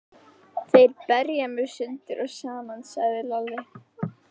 Þeir berja mig sundur og saman, hugsaði Lalli.